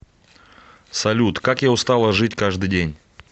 салют как я устала жить каждый день